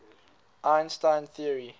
einstein theory